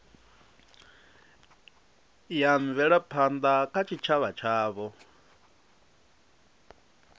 ya mvelaphanda kha tshitshavha tshavho